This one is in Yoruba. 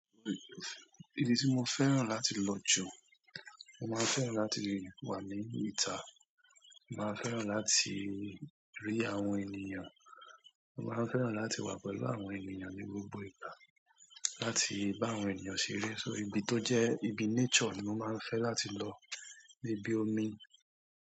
Ibi tí mo fẹ́ràn láti lọ jù, mo máa n fẹ́ràn láti wà ní ìta, mo màá n fẹ́ràn láti rí àwọn ènìyàn, mo màá n fẹ́ràn láti wà pẹ̀lú àwọn ènìyàn ní gbogbo ìgbà, láti bá àwọn ènìyàn ṣeré. So ibi tó jẹ́ ibi nature ni mo máa ń fẹ́ láti lọ bí ibi omi.